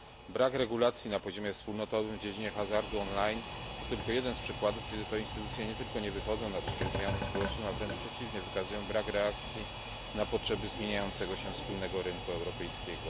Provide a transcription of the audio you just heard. Brak regulacji na poziomie wspólnotowym w dziedzinie hazardu on line to tylko jeden z przykładów, kiedy to instytucje nie tylko nie wychodzą naprzeciw zmianom społecznym, ale wręcz przeciwnie wykazują brak reakcji na potrzeby zmieniającego się wspólnego rynku europejskiego.